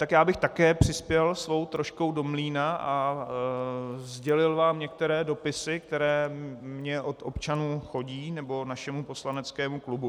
Tak já bych také přispěl svou troškou do mlýna a sdělil vám některé dopisy, které mně od občanů chodí, nebo našemu poslaneckému klubu.